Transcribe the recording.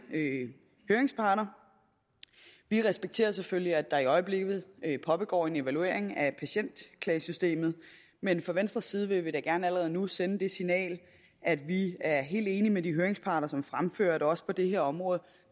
høringsparter vi respekterer selvfølgelig at der i øjeblikket pågår en evaluering af patientklagesystemet men fra venstres side vil vi da gerne allerede nu sende det signal at vi er helt enige med de høringsparter som fremfører at der også på det her område